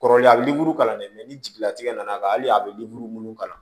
Kɔrɔlen a bɛ kalan dɛ ni jigilatigɛ nana ka hali a bɛ minnu kalan